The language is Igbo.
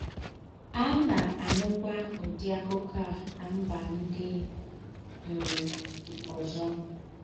À ná-ànúkwá údị́ àkúkọ̀ à nà mbà ńdị́ um ózọ.